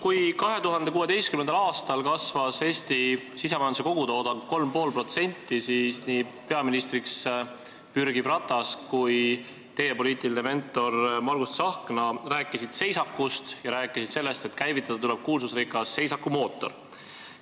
Kui 2016. aastal kasvas Eesti sisemajanduse kogutoodang 3,5%, siis nii peaministriks pürgiv Ratas kui teie poliitiline mentor Margus Tsahkna rääkisid seisakust ja rääkisid sellest, et käivitada tuleb kuulsusrikas seisakumootor.